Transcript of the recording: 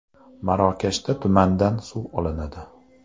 Marokashda tumandan suv olinadi .